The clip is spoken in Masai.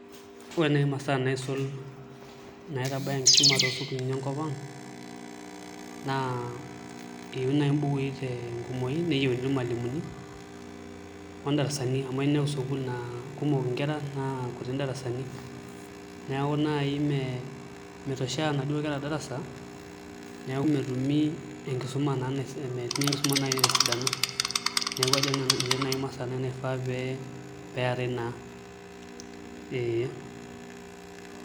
Ore naai imasaa naisul naitanaya enkisuma toosukuulini enkop ang' naa eyieuni mbukui tenkumoi neyieuni irmalimuni o ndarasani amu eya ninepu sukuul naa kumok nkera naa kuti indarasani neeku naai metoshea inaduo kera darasa neeku metumi enkisuma, misumai naai tesidano neeku ajo nanu inche naai imasaa najo pee pee eetai naa.